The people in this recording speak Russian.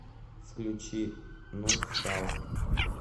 включи нускал